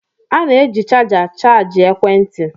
A na-eji chaja chajịa ekwentị.